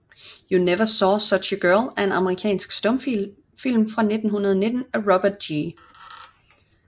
You Never Saw Such a Girl er en amerikansk stumfilm fra 1919 af Robert G